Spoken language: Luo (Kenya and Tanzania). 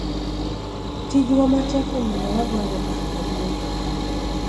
tijwa matek omiyo wagoyo okang' maduong' kaka riwruok